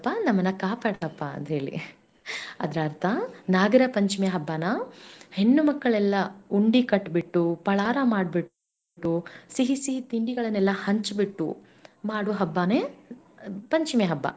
ಕಾಪಾಡಪ್ಪಾ ಅಂತೇಳಿ ಅದರ ಅರ್ಥ ನಾಗರ ಪಂಚಮಿ ಹಬ್ಬನ ಹೆಣ್ಣುಮಕ್ಕಳೆಲ್ಲ ಉಂಡಿ ಕಟ್ಟ ಬಿಟ್ಟು ಪಳಾರ ಮಾಡ್ಬಿಟ್ಟು ಸಿಹಿ ಸಿಹಿತಿಂಡಿಗಳನ್ನೆಲ್ಲಾ ಹಂಚ ಬಿಟ್ಟು ಮಾಡು ಹಬ್ಬಾನೇ ಪಂಚಮಿ ಹಬ್ಬ.